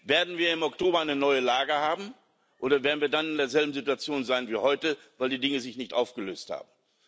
Werden wir im Oktober eine neue Lage haben, oder werden wir dann in derselben Situation sein wie heute, weil die Dinge sich nicht aufgelöst haben?